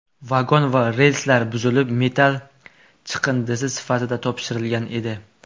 Vagon va relslar buzilib, metall chiqindisi sifatida topshirilgan edi.